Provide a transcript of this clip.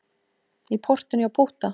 Í portinu hjá Pútta.